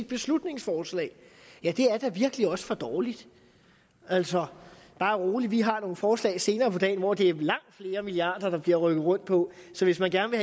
beslutningsforslag ja det er da virkelig også for dårligt altså bare rolig vi har nogle forslag senere på dagen hvor det er langt flere milliarder der bliver rykket rundt på så hvis man gerne